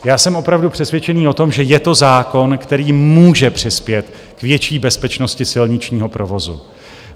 Já jsem opravdu přesvědčený o tom, že je to zákon, který může přispět k větší bezpečnosti silničního provozu.